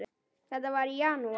Þetta var í janúar.